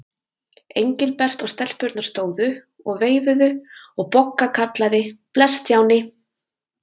Engilbert og stelpurnar stóðu og veifuðu og Bogga kallaði: Bless Stjáni.